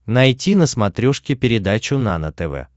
найти на смотрешке передачу нано тв